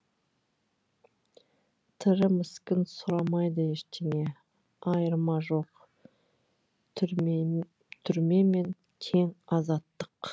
тірі міскін сұрамайды ештеңе айырма жоқ түрмемен тең азаттық